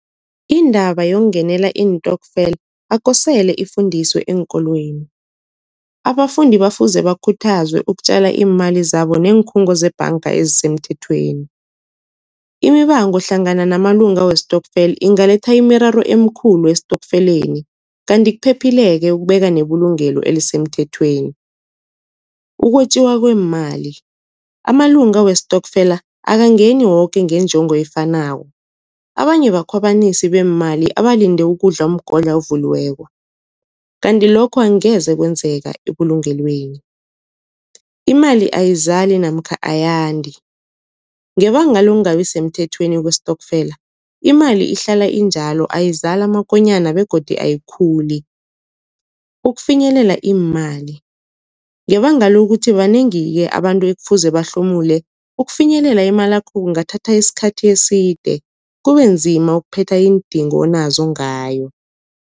Indaba yokungenela iintokfela akukosele ifundiswe eenkolweni. Abafundi bafuze bakhuthazwe ukutjala iimali zabo neenkhungo zebhanga ezisemthethweni. Imibango hlangana namalunga westokfeli ingaletha imiraro emikhulu estokfeleni, kanti kuphephile-ke ukubeka nebulugelo elisemthethweni. Ukwetjiwa kweemali, amalunga westokfela akangeni woke ngenjongo efanako abanye bakhwabanisi beemali abalinde ukudla umgodla ovuliweko, kanti lokho angeze kwenzeka ebulungelweni. Imali ayizali namkha ayandi, ngebanga lokungabi semthethweni kwestokfela, imali ihlala injalo ayizali amakonyana begodi ayikhuli. Ukufinyelela iimali, ngebanga lokuthi banengi-ke abantu ekufuze bahlomule ukufinyelela imalakho kungathatha isikhathi eside kubenzima ukuphetha iindingo onazo ngayo.